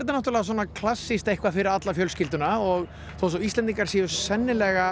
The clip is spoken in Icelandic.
náttúrulega svona klassískt eitthvað fyrir alla fjölskylduna og þó svo að Íslendingar séu sennilega